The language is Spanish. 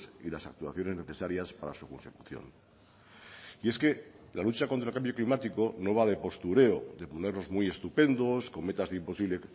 y las actuaciones necesarias para su consecución y es que la lucha contra el cambio climático no va de postureo de ponernos muy estupendos con metas de imposible